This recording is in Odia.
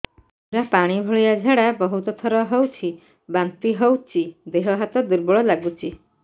ପୁରା ପାଣି ଭଳିଆ ଝାଡା ବହୁତ ଥର ହଉଛି ବାନ୍ତି ହଉଚି ଦେହ ହାତ ଦୁର୍ବଳ ଲାଗୁଚି